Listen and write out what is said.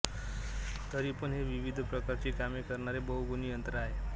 तरी पण हे विविध प्रकारची कामे करणारे बहुगुणी यंत्र आहे